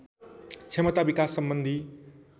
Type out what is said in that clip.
क्षमता विकास सम्बन्धि